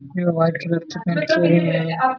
white colour --